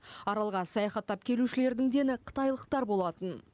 аралға саяхаттап келушілердің дені қытайлықтар болатын